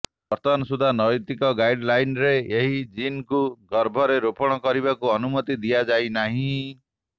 ବର୍ତ୍ତମାନ ସୁଦ୍ଧା ନୈତିକ ଗାଇଡଲାନ୍ରେ ଏହି ଜିନ୍କୁ ଗର୍ଭରେ ରୋପଣ କରିବାକୁ ଅନୁମତି ଦିଆଯାଇନାହିଁ